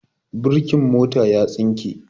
Birkin mota ya tsinke.